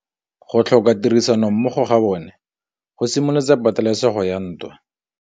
Go tlhoka tirsanommogo ga bone go simolotse patêlêsêgô ya ntwa.